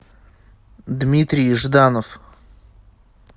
дмитрий жданов